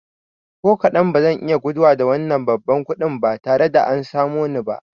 Ko kaɗan, bazan iya guduwa da wannan babban kuɗin ba tare da an samo ni ba